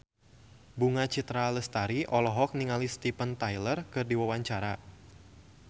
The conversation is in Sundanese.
Bunga Citra Lestari olohok ningali Steven Tyler keur diwawancara